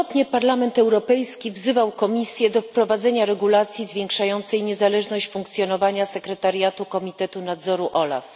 Parlament Europejski wielokrotnie wzywał Komisję do wprowadzenia regulacji zwiększającej niezależność funkcjonowania sekretariatu Komitetu Nadzoru OLAF.